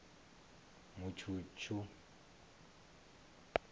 mutshutshu